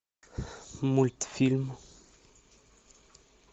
мультфильм